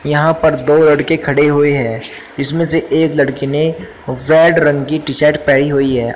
यहां पर दो लड़की खड़ी हुई है जिसमें से एक लड़की ने रेड रंग की टीशर्ट पड़ी हुई है।